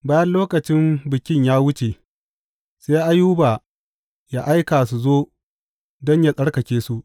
Bayan lokacin bikin ya wuce, sai Ayuba yă aika su zo don yă tsarkake su.